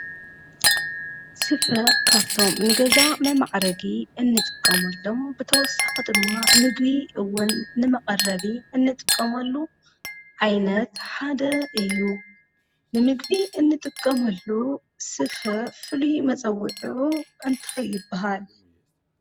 ስፍ ካፍቶም ንገዛ መማዕረጊ እንጥቀሙሎም ብተወሳኽ ድማ ምግቢ እውን ንመቐረቢ እንጥቀምሉ ዓይነት ሓደ ይሩ ንምግቢ እንጥቀሙሉ ስፍ ፍልዩ መጸዊዑሩ እንታይ ይብሃል?